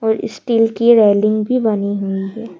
और स्टील की रेलिंग भी बनी हुई है।